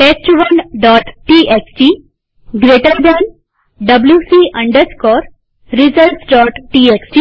test1ટીએક્સટી જમણા ખૂણાવાળા કૌંસ wc resultstxt